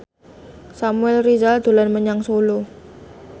Samuel Rizal dolan menyang Solo